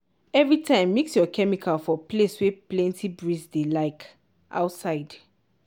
every time mix your chemical for place wey plenty breeze dey like outside.